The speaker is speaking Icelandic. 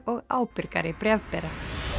og ábyrgari bréfbera